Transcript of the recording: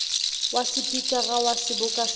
wa sepikara wa seboka sa